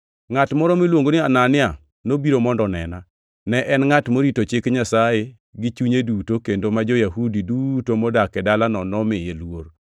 “Ngʼat moro miluongo ni Anania nobiro mondo onena. Ne en ngʼat morito Chik Nyasaye gi chunye duto kendo ma jo-Yahudi duto modak e dalano nomiye luor.